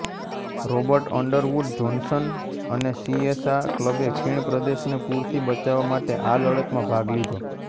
Robert Underwood Johnson અને સીએસા ક્લબે ખીણપ્રદેશને પૂરથી બચાવવા માટે આ લડતમાં ભાગ લીધો